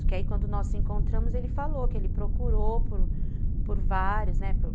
Porque aí quando nós nos encontramos, ele falou que ele procurou por por vários, né, por